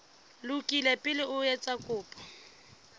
lokile pele o etsa kopo